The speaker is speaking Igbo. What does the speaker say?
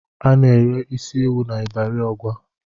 Ana-ere isi ewù n'Ịbari Ọgwa.